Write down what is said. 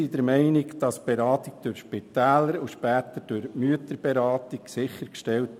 Die Beratung ist durch Spitäler und später durch die Mütterberatung sichergestellt.